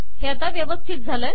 हे आाता व्यवस्थित आले